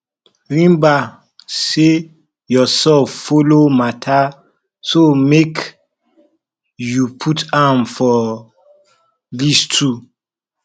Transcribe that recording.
remmba sey urself follow mata so mek yu put am for list too